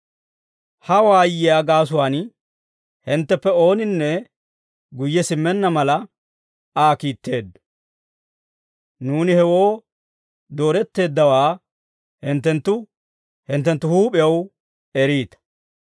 Ha waayiyaa gaasuwaan hintteppe ooninne guyye simmenna mala, Aa kiitteeddo. Nuuni hewoo dooretteeddawaa hinttenttu hinttenttu huup'ew eriita.